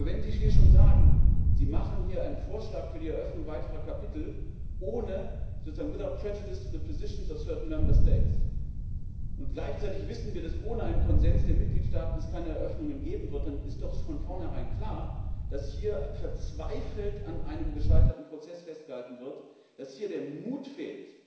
Aber wenn Sie hier schon sagen, Sie machen hier einen Vorschlag für die Eröffnung weiterer Kapitel, sozusagen without prejudice to the positions of certain Member States und gleichzeitig wissen wir, dass es ohne einen Konsens der Mitgliedstaaten keine Eröffnungen geben wird, dann ist doch von vornherein klar, dass hier verzweifelt an einem gescheiterten Prozess festgehalten wird, dass hier der Mut fehlt,